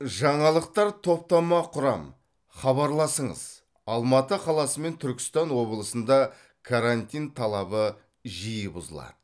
жаңалықтар топтама құрам хабарласыңыз алматы қаласы мен түркістан облысында карантин талабы жиі бұзылады